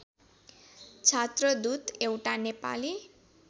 छात्रदूत एउटा नेपाली